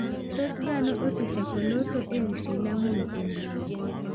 Thoth dhano osechako lose ewii filamu no e mbuyi.